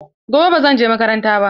Gobe ba zan je makaranta ba.